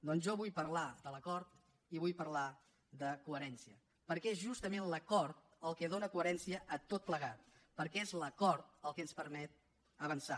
doncs jo vull parlar de l’acord i vull parlar de coherència perquè és justament l’acord el que dóna coherència a tot plegat perquè és l’acord el que ens permet avançar